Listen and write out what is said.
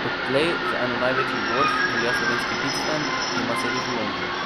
Odtlej za eno največjih borz velja slovenski Bitstamp, ki ima sedež v Londonu.